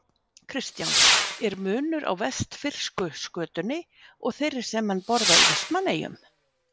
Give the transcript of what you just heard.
Kristján: Er munur á vestfirsku skötunni og þeirri sem menn borða í Vestmannaeyjum?